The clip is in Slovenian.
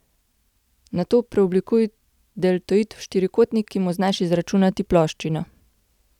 Nato preoblikuj deltoid v štirikotnik, ki mu znaš izračunati ploščino.